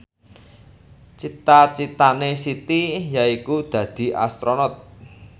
cita citane Siti yaiku dadi Astronot